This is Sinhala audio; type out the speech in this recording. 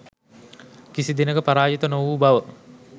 කිසිදිනෙක පරාජිත නොවූ බව